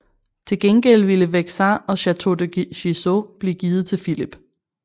Til gengæld ville Vexin og Château de Gisors blive givet til Filip